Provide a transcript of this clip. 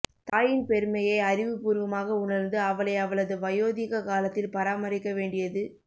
தாயின் பெருமையை அறிவுபூர்வமாக உணர்ந்து அவளை அவளது வயோதிக காலத்தில் பராமரிக்க வேண்டியது